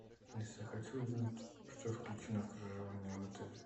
алиса хочу узнать что включено в проживание в отеле